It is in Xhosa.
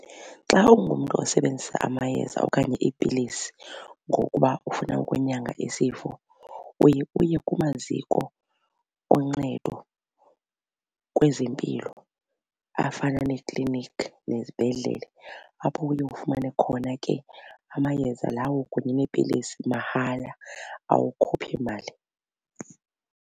Xa ungumntu osebenzisa amayeza okanye iipilisi ngokuba ufuna ukunyanga isifo uye uye kumaziko oncedo kwezempilo afana neekliniki nezibhedlele apho uye ufumane khona ke amayeza lawo kunye neepilisi mahala awukhuphi mali.